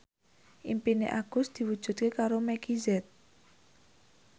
impine Agus diwujudke karo Meggie Z